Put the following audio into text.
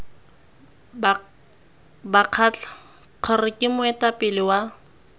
bakgatla kgr ke moetapele wa